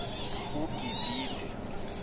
ugibithe